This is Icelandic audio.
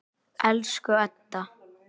Elsku Edda.